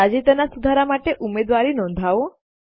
તાજેતરનાં સુધારાઓ માટે ઉમેદવારી નોંધાવો